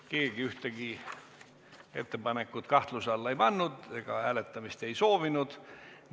Keegi ühtegi ettepanekut kahtluse alla ei pannud ega hääletamist ei soovinud.